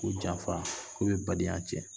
Ko janfa ko bɛ badenya cɛn.